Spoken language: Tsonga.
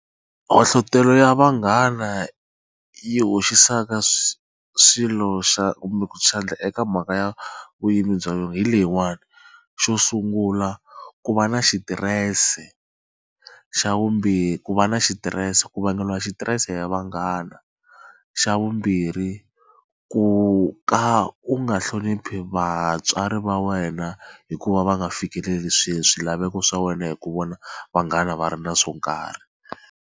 ya vanghana yi hoxisaka swilo xa kumbe ku xandla eka mhaka ya hi leyiwani, xo sungula ku va na xitirese, xa vumbirhi ku va na xitirese ku vangeliwa xitirese ya vanghana xa vumbirhi ku ka u nga hloniphi vatswari va wena hikuva va nga fikeleli swilaveko swa wena hi ku vona vanghana va ri na swo nkarhi.